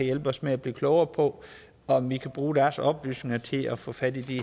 hjælpe os med at blive klogere på om vi kan bruge deres oplysninger til at få fat i